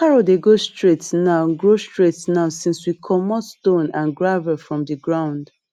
carrot dey grow straight now grow straight now since we comot stone and gravel from the ground